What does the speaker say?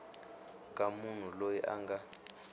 ka munhu loyi a nga